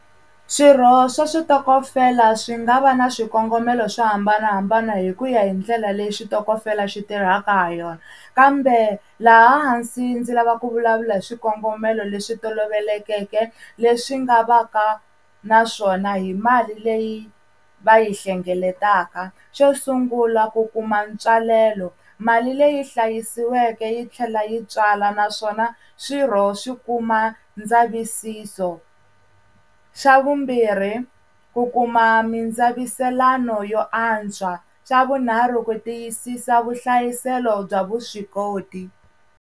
Swirho swa switokofela swi nga va na swikongomelo swa hambanahambana hi kuya hi ndlela leyi switokofela xi tirhaka ha yona kambe laha hansi ndzi lava ku vulavula hi swikongomelo leswi tolovelekeke leswi nga va ka na swona hi mali leyi va yi hlengeletaka xo sungula ku kuma ntswalelo mali leyi hlayisiweke yi tlhela yi tswala naswona swirho swi kuma ndzavisiso, xa vumbirhi ku kuma mindzaviselano yo antswa, xa vunharhu ku tiyisisa vuhlayiselo bya vuswikoti.